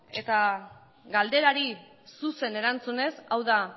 eta galderari zuzen erantzunez hau da